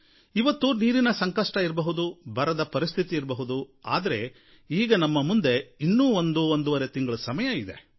ಇವತ್ತು ನೀರಿನ ಸಂಕಷ್ಟ ಇರಬಹುದು ಬರದ ಪರಿಸ್ಥಿತಿ ಇರಬಹುದು ಆದರೆ ಈಗ ನಮ್ಮ ಮುಂದೆ ಒಂದು ಒಂದೂವರೆ ತಿಂಗಳ ಸಮಯ ಇದೆ